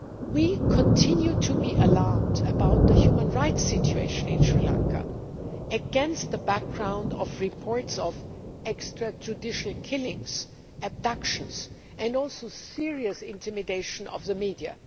We continue to be alarmed about the human rights situation in Sri Lanka, against the background of reports of extrajudicial killings, abductions and serious intimidation of the media.